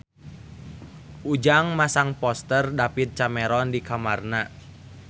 Ujang masang poster David Cameron di kamarna